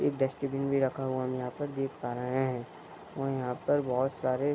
एक डस्टबिन भी रखा हुआ हम यहाँ पर देख पा रहे है और यहाँ पर बहुत सारे --